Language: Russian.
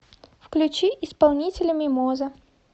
включи исполнителя мимоза